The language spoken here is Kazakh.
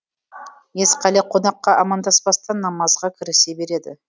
есқали конаққа амандаспастан намазға кірісе береді